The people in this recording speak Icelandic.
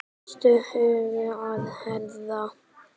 Kostaðu huginn að herða.